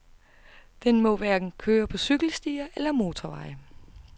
Den må hverken køre på cykelstier eller motorveje.